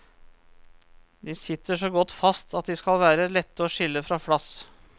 De sitter så godt fast at de skal være lette å skille fra flass.